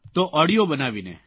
તો ઓડિયો બનાવીને